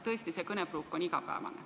Tõesti, see kõnepruuk on igapäevane.